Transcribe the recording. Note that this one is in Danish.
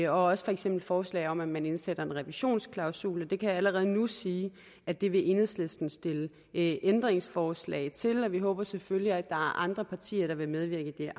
også for eksempel forslag om at man indsætter en revisionsklausul jeg kan allerede nu sige at det vil enhedslisten stille ændringsforslag til vi håber selvfølgelig at andre partier der vil medvirke i